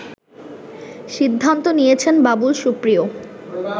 সিদ্ধান্ত নিয়েছেন বাবুল সুপ্রিয়